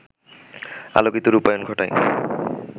আলোকিত রূপায়ণ ঘটায়